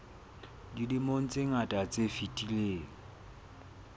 dilemong tse ngata tse fetileng